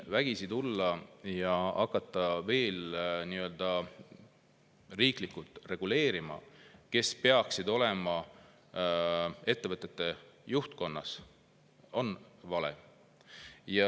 Vägisi tulla ja hakata riiklikult reguleerima seda, kes peaksid olema ettevõtete juhtkonnas, on vale.